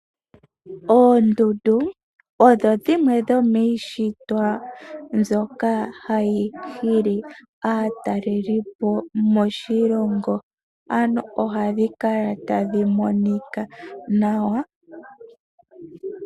Oondundu odho dhimwe dhomiishitwa mbyoka hayi hili aatalelipo moshilongo ,ano ohadhi kala tadhi monika nawa.